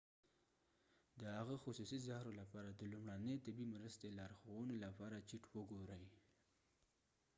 د هغه خصوصي زهرو لپاره د لومړنۍ طبي مرستې لارښوونو لپاره چیټ وګورئ